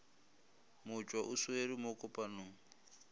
motšwa o swere mo kopanong